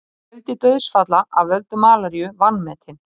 Fjöldi dauðsfalla af völdum malaríu vanmetin